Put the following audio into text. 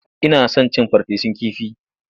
Ina son cin farfesun kifi.